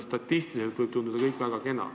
Statistiliselt võib kõik väga kena tunduda.